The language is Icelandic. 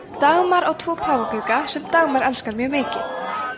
dagmar á tvo páfagauka sem dagmar elskar mjög mikið